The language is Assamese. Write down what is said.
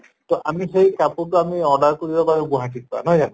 তʼ আমি সেই কাপোৰতো আমি order কৰিব পাৰো গুৱাহাটীৰ পা নহয় জানো?